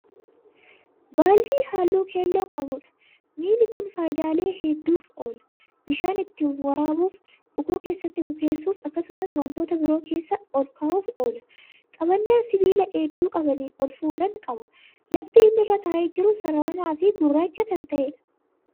Baaldii halluu keelloo qabudha. miini Kuni faayidaalee hedduuf oola. bishaan ittiin waraabuuf, bukoo keessatti bukeessuuf, akkasumas wantoota biroo keessa olkaa'uuf oola. qabannaa sibiilaa iddoo qabanii olfuudhan qaba. lafti inni irra taa'ee jiru sassararamaa fi gurraacha Kan ta'eedha.